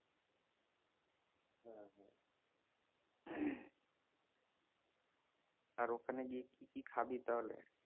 আর ওখানে গিয়ে কি কি খাবি তাহলে?